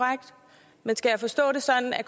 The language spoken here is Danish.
at